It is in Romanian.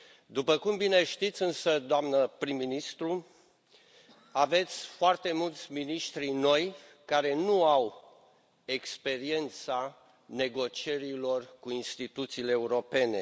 După cum bine știți, însă, doamnă prim ministru, aveți foarte mulți miniștri noi, care nu au experiența negocierilor cu instituțiile europene.